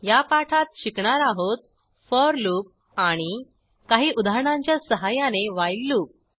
या पाठात शिकणार आहोत फोर लूप आणि काही उदाहरणांच्या सहाय्याने व्हाईल लूप